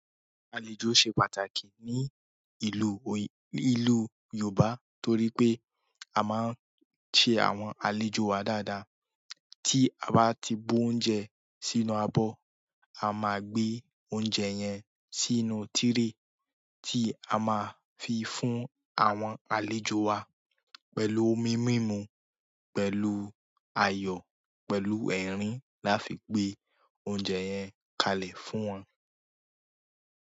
Àlejò se pàtàkì ni ìlú, ni ìlú Yooba toripe a maa n se àwọn àlejò wa dáadáa tí a bá ti bó oúnjẹ sínú abọ́, a máa gbé oúnjẹ yẹn sínú tírè tí a máa fi fún àwọn àlejò wa pẹ̀lú omi mímu, pẹ̀lú ayọ̀, pẹ̀lú ẹ̀rín láfi gbé oúnjẹ yẹn kalẹ̀ fún wọn.